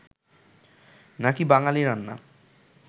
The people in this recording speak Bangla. নাকি বাঙালি রান্না